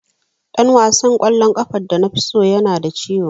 Dan wasan kwallon kafa da nafi so yana da ciwo.